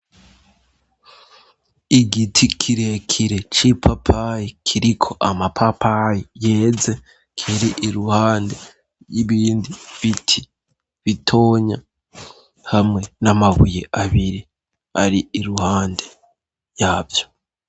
Igiti kire kire c'ipapayi kiriko amapapayi yeze kiri iruhande y'ibindi biti bitonya hamwe n'amabuye abiri ari iruhande yavyo.